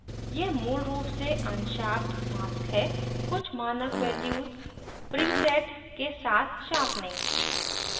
यह मूल रूप से अनशार्पड mask है कुछ mask values preset के साथ sharpening